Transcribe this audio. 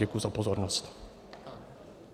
Děkuji za pozornost.